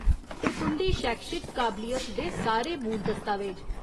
ते तुं'दी शैक्षिक काबलियत दे सारे मूल दस्तावेज।